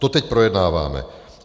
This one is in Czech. To teď projednáváme.